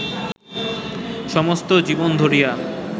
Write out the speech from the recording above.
সমস্ত জীবন ধরিয়া